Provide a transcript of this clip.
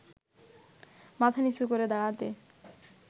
মাথা নিচু করে দাঁড়াতে